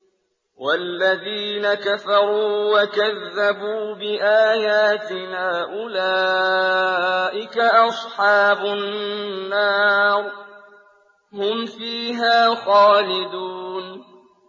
وَالَّذِينَ كَفَرُوا وَكَذَّبُوا بِآيَاتِنَا أُولَٰئِكَ أَصْحَابُ النَّارِ ۖ هُمْ فِيهَا خَالِدُونَ